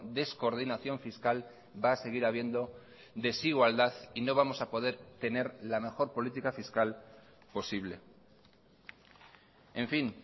descoordinación fiscal va a seguir habiendo desigualdad y no vamos a poder tener la mejor política fiscal posible en fin